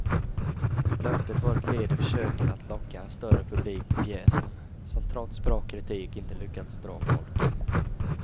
Löftet var ett led i försöken att locka en större publik till pjäsen, som trots bra kritik inte lyckats dra folk.